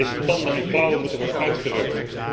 Deze tanden en klauwen moeten worden uitgerukt.